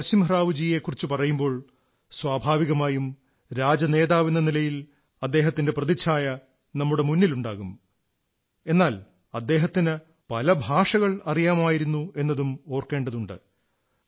നരസിംഹറാവുജിയെക്കുറിച്ചു പറയുമ്പോൾ സ്വാഭാവികമായും രാഷ്ട്രീയനേതാവെന്ന നിലയിൽ അദ്ദേഹത്തിന്റെ പ്രതിച്ഛായ നമ്മുടെ മുന്നിലുണ്ടാകും എന്നാൽ അദ്ദേഹത്തിന് പല ഭാഷകൾ അറിയാമായിരുന്നു എന്നതും ഓർക്കേണ്ടതുണ്ട്